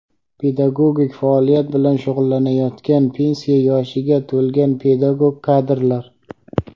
pedagogik faoliyat bilan shug‘ullanayotgan pensiya yoshiga to‘lgan pedagog kadrlar;.